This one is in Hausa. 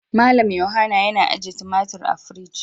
Mal yohanna yana ajiye tumatur a fridge.